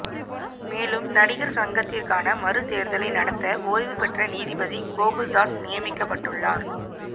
மேலும் நடிகர் சங்கத்திற்கான மறு தேர்தலை நடத்த ஓய்வு பெற்ற நீதிபதி கோகுல்தாஸ் நியமிக்கப்பட்டுள்ளார்